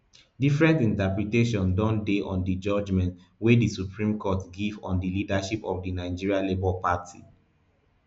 different interpretations don dey on di judgement wey di supreme court give on di leadership of di nigeria labour party